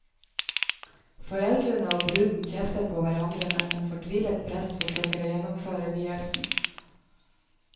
Foreldrene og bruden kjefter på hverandre mens en fortvilet prest forsøker å gjennomføre vielsen.